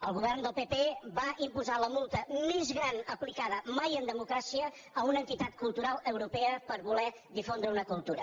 el govern del pp va imposar la multa més gran aplicada mai en democràcia a una entitat cultural europea per voler difondre una cultura